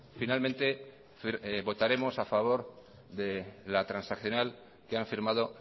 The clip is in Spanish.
finalmente votaremos a favor de la transaccional que han firmado